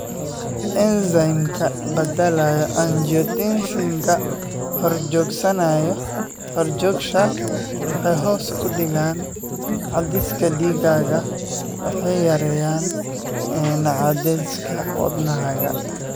Enzymka badalaa Angiotensinka horjoogayaasha waxay hoos u dhigaan cadaadiska dhiiggaaga waxayna yareeyaan cadaadiska wadnahaaga.